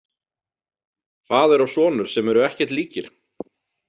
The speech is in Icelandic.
Faðir og sonur sem eru ekkert líkir?